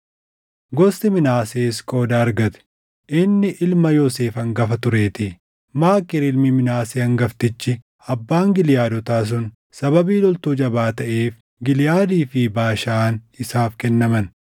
Gosti Minaasees qooda argatte; inni ilma Yoosef hangafa tureetii. Maakiir ilmi Minaasee hangaftichi abbaan Giliʼaadotaa sun sababii loltuu jabaa taʼeef Giliʼaadii fi Baashaan isaaf kennaman.